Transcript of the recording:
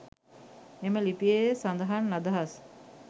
එම ලිපියේ සඳහන් අදහස්